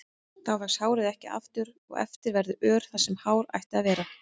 Þá vex hárið ekki aftur og eftir verður ör þar sem hár ætti að vera.